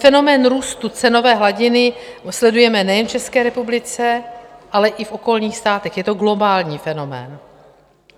Fenomén růstu cenové hladiny sledujeme nejen v České republice, ale i v okolních státech, je to globální fenomén.